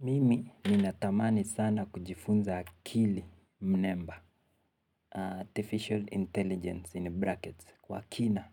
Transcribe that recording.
Mimi ninatamani sana kujifunza kili mnemba. Artificial intelligence in brackets. Kwa kina.